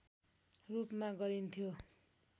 रूपमा गरिन्थ्यो